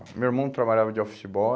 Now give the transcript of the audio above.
O meu irmão trabalhava de office boy.